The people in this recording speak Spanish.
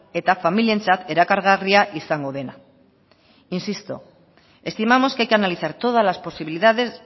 eta familientzat erakargarria izango dena insisto estimamos que hay que analizar todas las posibilidades